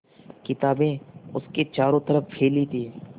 किताबें उसके चारों तरफ़ फैली थीं